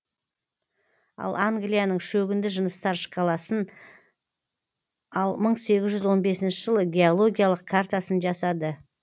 ал англияның шөгінді жыныстар шкаласын ал мың сегіз жүз он бесінші жылы геологиялық картасын жасады